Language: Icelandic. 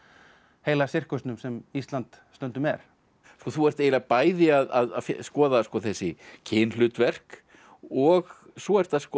heila sirkusnum sem Ísland stundum er þú ert eiginlega bæði að skoða þessi kynhlutverk og svo ertu að skoða